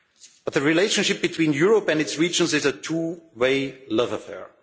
But the relationship between Europe and its regions is a two way love affair.